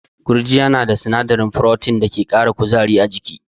Gurjiya na da sinadarin Protein da ke kara kuzari a jiki.